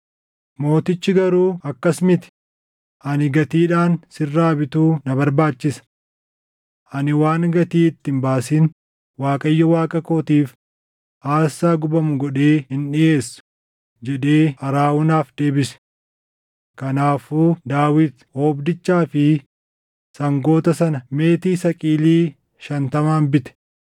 Mootichi garuu, “Akkas miti; ani gatiidhaan sirraa bituu na barbaachisa. Ani waan gatii itti hin baasin Waaqayyo Waaqa kootiif aarsaa gubamu godhee hin dhiʼeessu” jedhee Arawunaaf deebise. Kanaafuu Daawit oobdichaa fi sangoota sana meetii saqilii shantamaan bite.